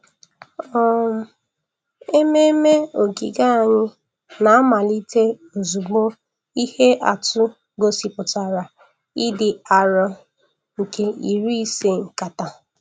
um Ememme ogige anyị na-amalite ozugbo ihe atụ gosipụtara ịdị arọ nke iri ise nkata.